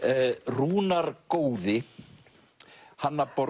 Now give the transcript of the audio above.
Rúnar góði Hanna borg